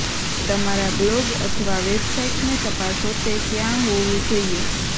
તમારા બ્લોગ અથવા વેબસાઇટને તપાસો તે ત્યાં હોવું જોઈએ